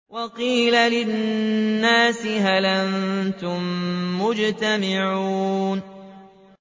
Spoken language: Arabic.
وَقِيلَ لِلنَّاسِ هَلْ أَنتُم مُّجْتَمِعُونَ